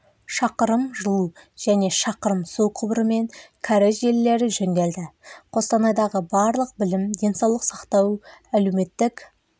шақырым жылу және шақырым су құбыры мен кәріз желілері жөнделді қостанайдағы барлық білім денсаулық сақтау әлеуметтік